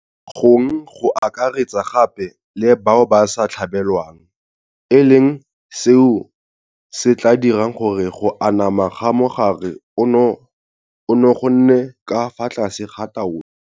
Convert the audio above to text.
Gong go akaretsa gape le bao ba sa tlhabelwang, e leng seo se tla dirang gore go anama ga mogare ono go nne ka fa tlase ga taolo.